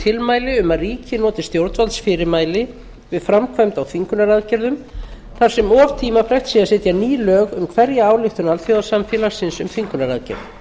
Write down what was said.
tilmæli um að ríki noti stjórnvaldsfyrirmæli við framkvæmd á þvingunaraðgerðum þar sem of tímafrekt sé að setja ný lög um hverja ályktun alþjóðasamfélagsins um þvingunaraðgerð